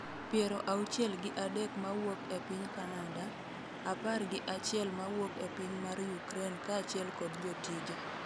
piero auchiel gi adek mawuok e piny kanada, apar gi achiel ma wuok e piny mar Ukraine kaachiel kod jotije